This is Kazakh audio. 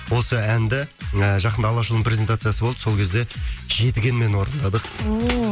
осы әнді ы жақында алашұлының презентациясы болды сол кезде жетігенмен орындадық ооо